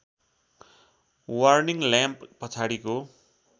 warning lamp पछाडिको